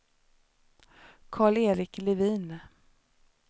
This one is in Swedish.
Karl-Erik Levin